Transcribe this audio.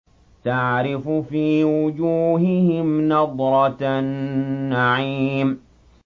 تَعْرِفُ فِي وُجُوهِهِمْ نَضْرَةَ النَّعِيمِ